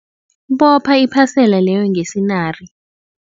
Bopha iphasela leyo ngesinari.